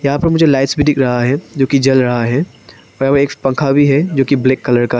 यहां पर मुझे लाइट्स भी दिख रहा है जो कि जल रहा है एक पंखा भी है जो की ब्लैक कलर का है।